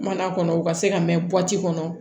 Mana kɔnɔ u ka se ka mɛn bɔti kɔnɔ